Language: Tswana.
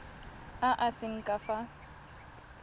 a a seng ka fa